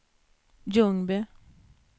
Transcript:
Ljungby